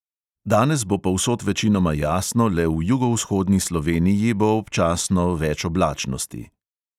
Danes bo povsod večinoma jasno, le v jugovzhodni sloveniji bo občasno več oblačnosti.